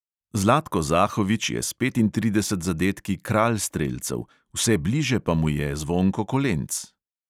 Zlatko zahovič je s petintrideset zadetki kralj strelcev, vse bližje pa mu je zvonko kolenc.